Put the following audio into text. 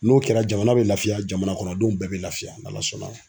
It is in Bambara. N'o kɛra jamana bɛ lafiya jamana kɔnɔdenw bɛɛ bɛ lafiya n'ALA sɔnna